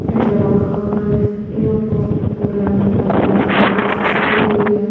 नज़र आ रहा है य पर पूरे रंग बरंगे सजावटों से सजी हुई है।